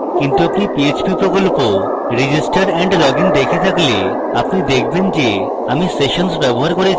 কিন্তু আপনি পিএইচপি প্রকল্প register and login দেখে থাকলে আপনি দেখবেন যে আমি সেশনস ব্যবহার করেছি